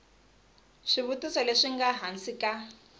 swivutiso leswi nga hansi ka